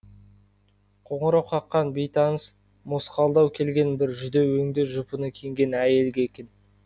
қоңырау қаққан бейтаныс мосқалдау келген бір жүдеу өңді жұпыны киінген әйелге екен